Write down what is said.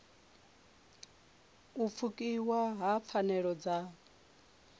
u pfukiwa ha pfanelo dza